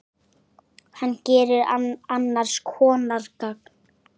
Hann gerir annars konar gagn.